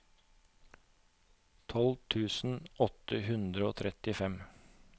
tolv tusen åtte hundre og trettifem